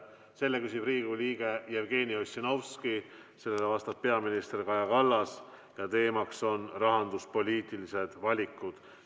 Selle küsib Riigikogu liige Jevgeni Ossinovski, sellele vastab peaminister Kaja Kallas ja teemaks on rahanduspoliitilised valikud.